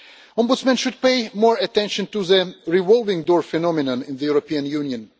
Ombudsmen should pay more attention to the revolving door phenomenon in the European Union.